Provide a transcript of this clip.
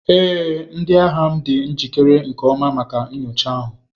Ee, ndi agha m dị njikere nke ọma maka nyocha ahụ.